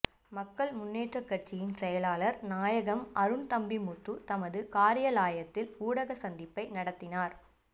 மக்கள் முன்னேற்ற கட்சியின் செயலாளர் நாயகம் அருண்தம்பிமுத்து தனது காரியாலயத்தில் ஊடக சந்திப்பினை நடாத்தினார்